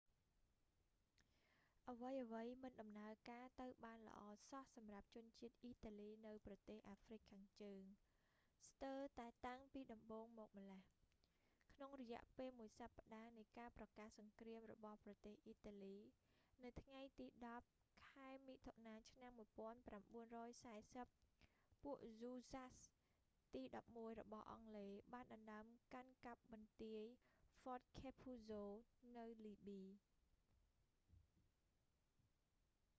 អ្វីៗមិនដំណើរការទៅបានល្អសោះ សម្រាប់ជនជាតិអ៊ីតាលីនៅប្រទេសអាហ្វ្រិកខាងជើង ស្ទើរតែតាំងពីដំបូងមកម្លេះ ក្នុងរយៈពេលមួយសប្តាហ៍នៃការប្រកាសសង្គ្រាមរបស់ប្រទេសអ៊ីតាលីនៅថ្ងៃទី 10 ខែមិថុនាឆ្នាំ 1940 ពួកហ៊ូស្សាស៍ទី 11 របស់អង់គ្លេសបានដណ្តើមកាន់កាប់បន្ទាយ ហ្វតឃែភូហ្សូ fort capuzzo នៅលីប៊ី